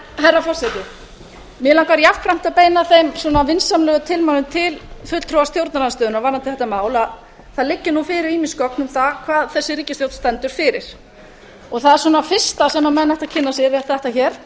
herra forseti mig langar jafnframt að beina þeim vinsamlegu tilmælum til fulltrúa stjórnarandstöðunnar varðandi þetta mál að það leggja nú fyrir ýmis gögn um það hvað þessi ríkisstjórn stendur fyrir það er svona fyrsta sem menn ættu að kynna sér er þetta hér